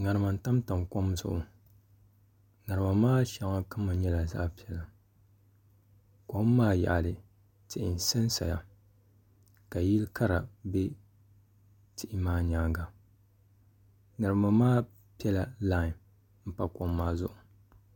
ŋarima n tamtam kom zuɣu di shɛŋa kama nyɛla zaɣ piɛla kom maa yaɣili tihi n sansaya ka yili kara bɛ di nyaanga ŋarima maa piɛla line n pa kom maa zuɣu